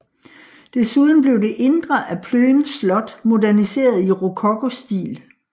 Desuden blev det indre af Plön Slot moderniseret i rokokostil